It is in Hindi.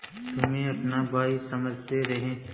तुम्हें अपना भाई समझते रहे